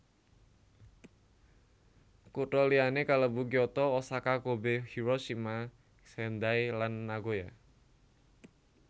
Kutha liyané kalebu Kyoto Osaka Kobe Hiroshima Sendai lan Nagoya